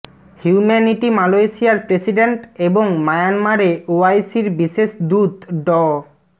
humanity মালয়েশিয়ার president এবং মিয়ানমারে ওআইসির বিশেষ দূত ড